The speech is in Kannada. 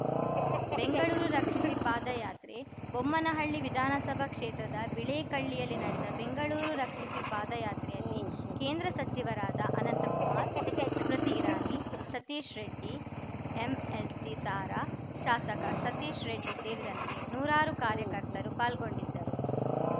ಬೆಂಗಳೂರು ರಕ್ಷಿಸಿ ಪಾದಯಾತ್ರೆ ಬೊಮ್ಮನಹಳ್ಳಿ ವಿಧಾನಸಭಾ ಕ್ಷೇತ್ರದ ಬಿಳೇಕಳ್ಳಿಯಲ್ಲಿ ನಡೆದ ಬೆಂಗಳೂರು ರಕ್ಷಿಸಿ ಪಾದಯಾತ್ರೆಯಲ್ಲಿ ಕೇಂದ್ರ ಸಚಿವರಾದ ಅನಂತಕುಮಾರ್‌ ಸ್ಮೃತಿ ಇರಾನಿ ಸತೀಶ್‌ ರೆಡ್ಡಿ ಎಂಎಲ್ಸಿ ತಾರಾ ಶಾಸಕ ಸತೀಶ್‌ ರೆಡ್ಡಿ ಸೇರಿದಂತೆ ನೂರಾರು ಕಾರ್ಯಕರ್ತರು ಪಾಲ್ಗೊಂಡಿದ್ದರು